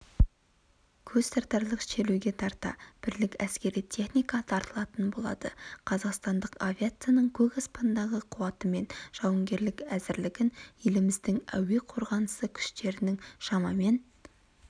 көзтартарлық шеруге тарта бірлік әскери техника тартылатын болады қазақстандық авиацияның көк аспандағы қуаты мен жауынгерлік әзірлігін еліміздің әуе қорғанысы күштерінің шамамен